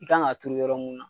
I kan ka turu yɔrɔ mun na.